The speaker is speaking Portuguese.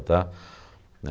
Tá? Né